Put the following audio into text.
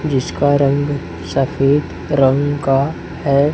जिसका रंग सफेद रंग का है।